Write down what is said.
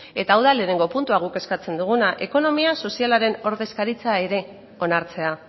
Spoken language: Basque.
eta hau da lehenengo puntua guk eskatzen duguna ekonomia sozialaren ordezkaritza ere onartzea